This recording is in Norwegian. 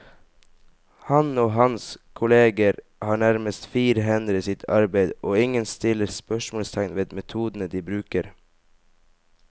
Han og hans kolleger har nærmest frie hender i sitt arbeid, og ingen stiller spørsmålstegn ved metodene de bruker.